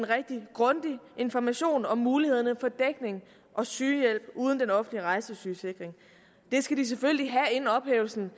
rigtig grundig information om mulighederne for dækning og sygehjælp uden den offentlige rejsesygesikring det skal de selvfølgelig have inden ophævelsen